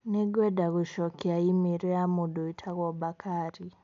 Nĩ ngwenda gũcokia i-mīrū ya mũndũ ũtagũo bakari.